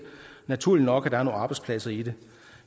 naturligt nok at der er nogle arbejdspladser i det